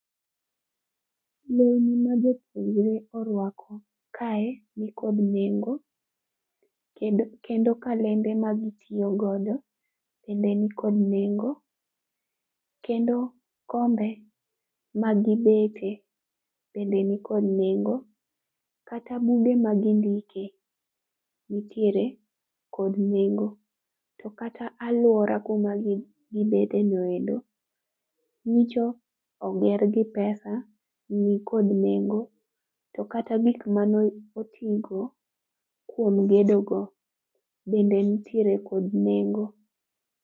Lewni ma jopuonjre orwako kae ni kod nengo kendo kalembe ma gi tiyo godo bende ni kod nengo, kendo kombe ma gi bete bende ni kod nengo, kata buge ma gi ndike nitiere kod nengo. To kata aluora ku ma gi bede no ero nyocha oger gi pesa, ni kod nengo to kata gik ma ne otigo kuom gedo no bende nitiere kod nengo..